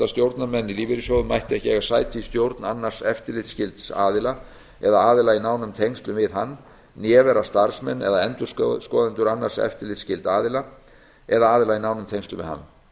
stjórnarmenn í lífeyrissjóðum mættu hvorki eiga sæti í stjórn annars eftirlitsskylds aðila eða aðila í nánum tengslum við hann né vera starfsmenn eða endurskoðendur annars eftirlitsskylds aðila eða aðila í nánum tengslum við hann